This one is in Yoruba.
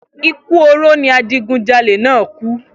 Ikú oró ni awo̩n adigunjalè náà kú